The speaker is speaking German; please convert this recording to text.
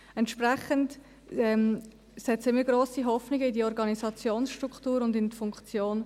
Entsprechend setzen wir grosse Hoffnungen in die Organisationsstruktur und in deren Funktion.